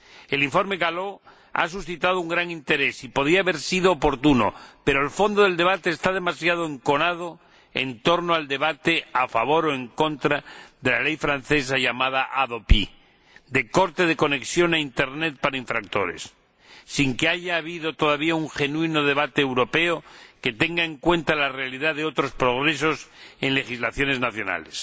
El informe Gallo ha suscitado un gran interés y podía haber sido oportuno, pero el fondo del debate está demasiado enconado en torno al debate, a favor o en contra, de la Ley francesa llamada HADOPI ―corte de la conexión a Internet para los infractores―, sin que haya habido todavía un genuino debate europeo que tenga en cuenta la realidad de otros progresos en legislaciones nacionales.